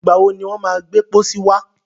Ìgbà wọ ni wọ́n má gbẹ́ pọ́sí wá?